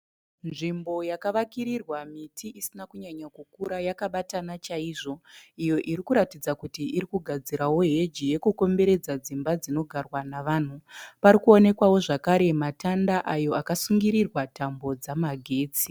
Nzvimbo yakavakirirwa miti isina kunyanyakukura yakabatana chaizvo. Iyo irikuratidza kuti irikugadzirawo heji yekukomberedza dzimba dzinogarwa navanhu. Parikuonekwawo zvakare matanda ayo akasungirirwa tambo dzemagetsi.